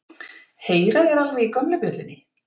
Heyra þeir alveg í gömlu bjöllunni?